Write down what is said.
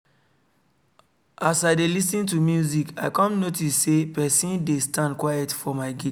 as i dey lis ten to music i come notice say person dey stand quiet for my gate